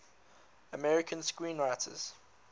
american screenwriters